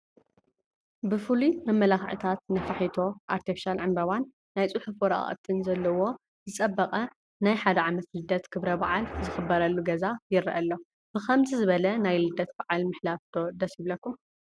ብፍሉይ መመላኽዕታት ነፋሒቶ፣ ኣርቴፊሻል ዕንበባን ናይ ፅሑፍ ወረቃቕትን ዘለዎን ዝፀበቐ ናይ 1 ዓመት ልደት ክብረ በዓል ዝኽበረሉ ገዛ ይረአ ኣሎ፡፡ ብኸምዚ ዝበለ ናይ ልደት በዓል ምሕላፍ ዶ ደስ ይብለኩም?